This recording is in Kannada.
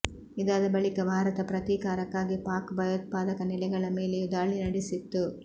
ಇದಾದ ಬಳಿಕ ಭಾರತ ಪ್ರತೀಕಾರಕ್ಕಾಗಿ ಪಾಕ್ ಭಯೋತ್ಪಾದಕ ನೆಲೆಗಳ ಮೇಲೆಯೂ ದಾಳಿ ನಡೆಸಿತ್ತು